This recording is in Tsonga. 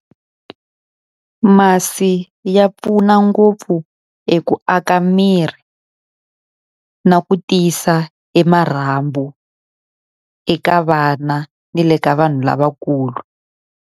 Masi ya pfuna ngopfu hi ku aka miri na ku tiyisa e marhambu eka vana ni le ka vanhu lavakulu.